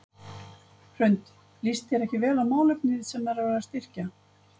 Hrund: Líst þér ekki vel á málefni sem er verið að styrkja?